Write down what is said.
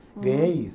Ganhei isso.